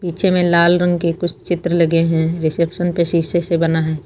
पीछे में लाल रंग की कुछ चित्र लगे हैं रिसेप्शन पे शीशे से बना है।